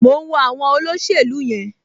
Mò ń wo àwọn olóṣèlú yẹn